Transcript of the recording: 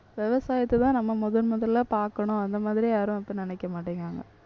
விவசாயத்தைதான் நம்ம முதன்முதலா பார்க்கணும். அந்த மாதிரி யாரும் இப்ப நினைக்க மாட்டேங்கிறாங்க.